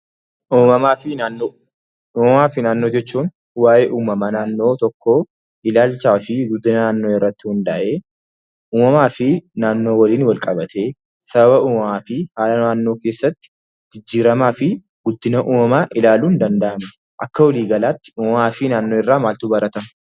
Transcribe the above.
Uumamaa fi naannoo. Uumamaa fi naannoo jechuun waa'ee uumamaa naannoo tokko ilaalchaa fi guddinaa naannoo irrati hunda'ee, uumamaa fi naannoo wajiin walqabate sababaa fi uumamaa fi haala naannoo keessatti jijjirama fi guddinnaa uumamaa ilaaluun danda'amuudha. Akka waligalatti uumamaa fi naannoo irra maaltu baratama?